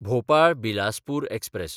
Bhopal Bilaspur express